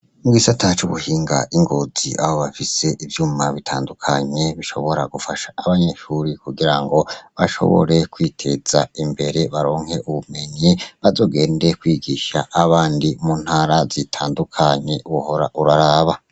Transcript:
Mwisi ataco uguhinga ingozi abo bafise ivyuma bitandukanye bishobora gufasha abanyeshuri kugira ngo bashobore kwiteza imbere baronke ubumenye bazogende kwigisha abandi muntara zitandukanye uhora uraraba.